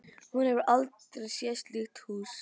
Hún hefur aldrei séð slíkt hús.